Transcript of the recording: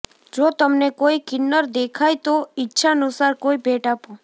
જો તમને કોઈ કિન્નર દેખાય તો ઈચ્છાનુસાર કોઈ ભેટ આપો